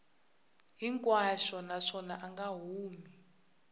hinkwaxo naswona a nga humi